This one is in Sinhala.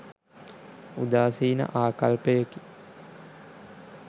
උදාසීන ආකල්පයකි.